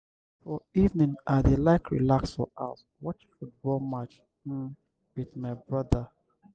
for evening i dey like relax for house watch football match um wit my broda.